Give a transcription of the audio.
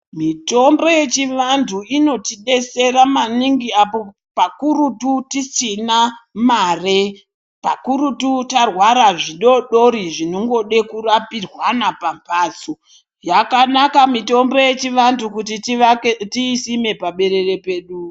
Mitombo yechivantu inotidetsera maningi apo pakurutu tisina mare pakurutu tarwara zvidoodori zvinongode kurapirwana pamphatso yakanaka mitombo yedu yechivantu kuti tiisime paberere pedu.